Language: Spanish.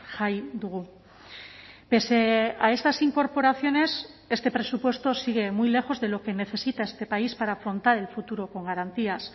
jai dugu pese a estas incorporaciones este presupuesto sigue muy lejos de lo que necesita este país para afrontar el futuro con garantías